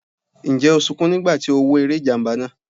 Ǹjẹ́ o sunkún nígbà tí o wo eré ìjàmbá náà?